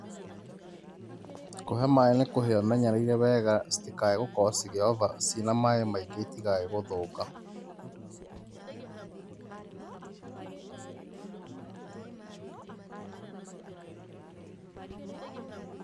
Kũhe maĩ nĩ kũhe ũmenyereire wega, citikae gũkorwo ciĩna maĩ maingĩ citikae gũthũka.